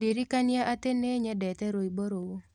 ndirikania ati ni nyendete rwĩmbo ruũ